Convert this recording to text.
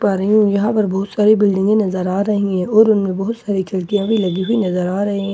पा रही हूँ यहां पर बहुत सारी बिल्डिंगें नजर आ रही हैं और उनमें बहुत सारी खिड़कियां भी लगी हुई नजर आ रहें --